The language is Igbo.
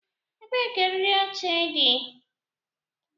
Ebee ka eriri oche dị?